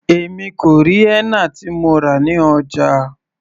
Èmi kò rí henna tí mo rà ní ọjà.